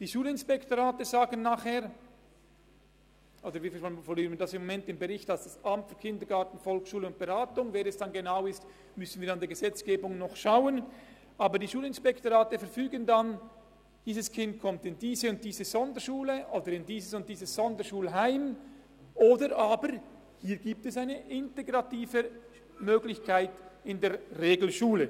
Die Schulinspektorate beziehungsweise, wie wir es im Moment im Bericht formulieren, das AKVB – wer es dann genau sein wird, müssen wir im Verlauf der Gesetzgebung noch prüfen – verfügen, dass das Kind in diese oder jene Sonderschule oder in dieses oder jenes Sonderschulheim kommt, oder aber sie verfügen, dass in der Regelschule eine integrative Möglichkeit besteht.